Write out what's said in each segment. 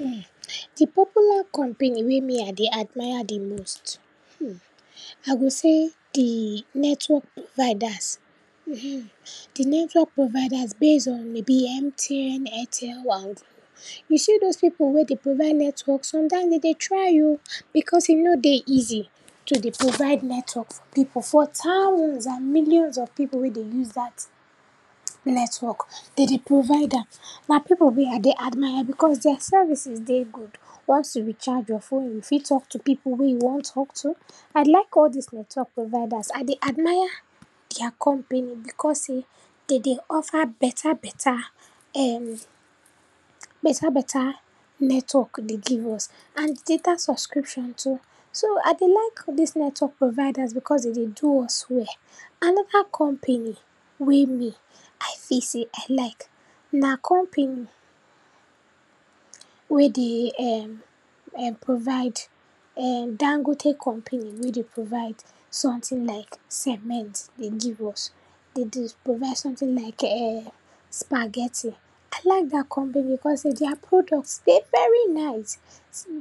um, di popular company wey me I dey admire di most. um, I go sey di network providers, um, di network providers base on may be MTN, AIRTEL and GLO. You see dose pipu wey dey provide network, sometimes den dey try o, because e no dey easy to dey provide network for pipu, for thousands and millions of pipu wey dey use dat network, den dey provide am, na pipu wey I dey admire because dia services dey good. Once you recharge your phone, you fit talk to pipu wey you wan talk to. I like all dis network providers, I dey admire dia company, because sey den dey offer beta beta um beta beta network dey give us and data subscription too. So, I dey like dis network providers because den dey do us well. Anoda company wey me I feel sey I like na company wey dey um um provide um Dangote company wey dey provide sometin like cement dey give us. Den dey provide sometin like um spaghetti, I like dat company because sey dia product dey very nice.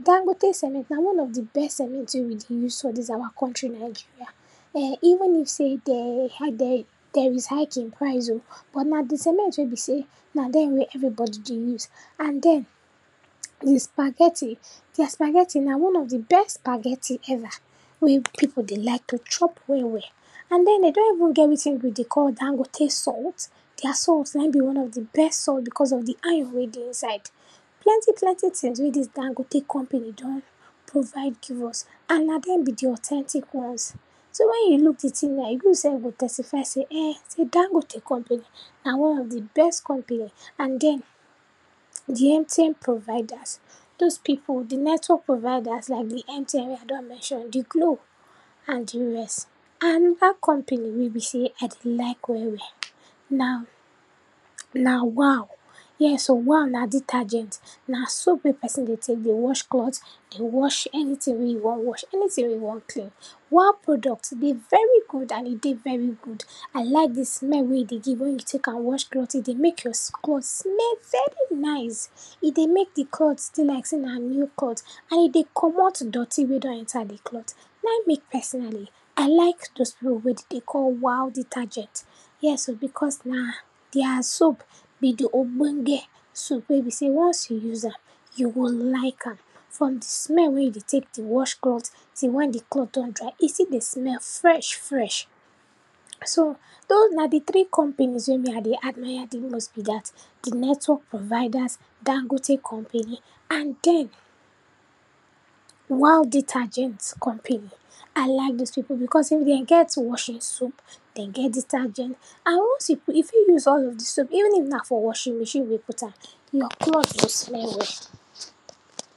Dangote cement na one of di best cement wey we dey use for dis our country Nigeria. um even if sey den um der der is hike in price o, but now di cement wey be sey na den wey everybody dey use and den di spaghetti, dia spaghetti na one of di best spaghetti ever, pipu dey like to chop well well. And den, den don even get wetin we dey call Dangote salt, dia salt naim be one of di best salt because of di iron wey dey inside, plenty plenty tins wey dis Dangote company don provide give us and na dem be di authentic ones. So, wen you look di tin ehn, you sef go testify sey[um]sey Dangote company na one of di best company. And den, di MTN providers, dose pipu, di network providers like MTN wey I don mention, di GLO and di rest. Anoda company wey be sey I dey like well well na, na waw, yes o, waw na detergent, na soap wey person dey tek dey wash clot, dey wash anytin wey you wan wash, anytin wey you wan clean. Waw product dey very good and e dey very good. I like di smell wey e dey give wen you tek am wash clot, e dey mek your clot smell very nice, e dey mek di clot dey like sey na new clot and e dey comot dirty wey don enter di clot, naim mek personally, I like dose pipu wey den dey call waw detergent. Yes o, because na dia soap be di ogbonge soap wey be sey once you use am, you go like am. From di smell wey you dey tek dey wash clot till wen di clot don dry, e still dey smell fresh fresh. So, dose na di tiri companies wey I dey admire di most be dat. Di network providers, Dangote company and den waw detergent company, I like dis pipu, because if den get washing soap, den get detergent and once you put, you fit use all of di soap even if na for washing machine you put am, your clot go smell well.